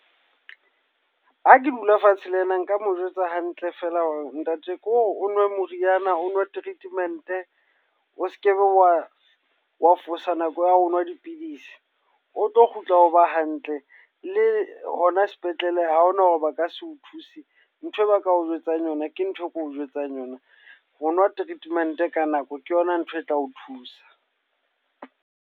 Ha ke dula fatshe le ena nka mo jwetsa hantle feela hore ntate ke o nwe moriana o nwe treatment-e. O sekebe wa wa fosa nako ya ho nwa dipidisi. O tlo kgutla o ba hantle, le hona sepetlele ha hona hore ba ka se o thuse. Nthwe ba ka o jwetsang yona, ke ntho e ke o jwetsang yona. Ho nwa treatment ka nako ke yona ntho e tla o thusa.